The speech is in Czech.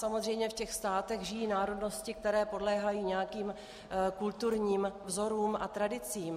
Samozřejmě v těch státech žijí národnosti, které podléhají nějakým kulturním vzorům a tradicím.